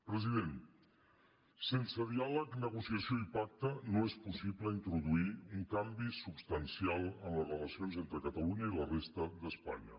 president sense diàleg negociació i pacte no és possible introduir un canvi substancial en les relacions entre catalunya i la resta d’espanya